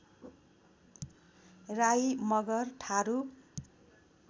Rai Magar Tharu